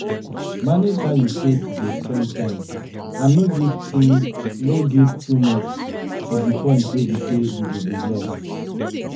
Manage how you take dey spend time and no give too no give too much to di point wey be say you go dey lost